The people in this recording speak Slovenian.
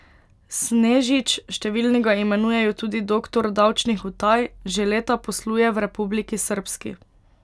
Snežič, številni ga imenujejo tudi doktor davčnih utaj, že leta posluje v Republiki Srbski.